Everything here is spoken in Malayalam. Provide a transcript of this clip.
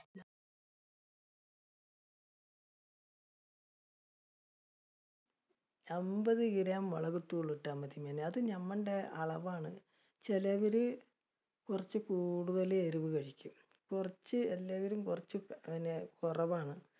എൺപത് kilo മുളകുപൊടി ഇട്ടാ മതി മോനേ, അത് അളവാണ്. ചിലവര് കുറച്ചു കൂടുതൽ എരിവ് കഴിക്കും. കുറച്ച് ഉള്ളവര് കുറച്ച് കുറവാണ്.